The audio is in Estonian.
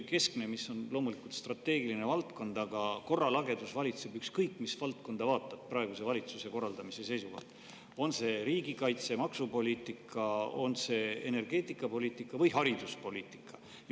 See on loomulikult strateegiline valdkond, aga korralagedus valitseb, ükskõik mis valdkonda vaatad praeguse valitsuse korraldamise seisukohalt – on see riigikaitse- või maksupoliitika, on see energeetikapoliitika või hariduspoliitika.